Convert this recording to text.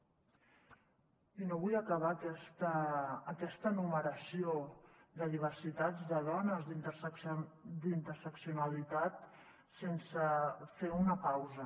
i no vull acabar aquesta enumeració de diversitats de dones d’interseccionalitat sense fer una pausa